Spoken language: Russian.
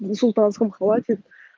на султанском хватит